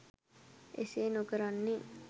එසේ නොකරන්නේ